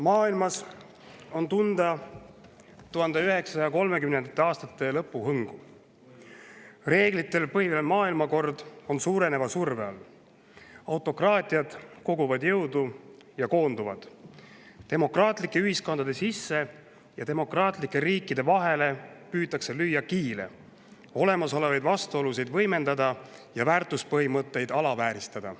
Maailmas on tunda 1930. aastate lõpu hõngu: reeglitel põhinev maailmakord on suureneva surve all, autokraatiad koguvad jõudu ja koonduvad, demokraatlike ühiskondade sisse ja demokraatlike riikide vahele püütakse lüüa kiilu, olemasolevaid vastuolusid võimendada ja väärtuspõhimõtteid alavääristada.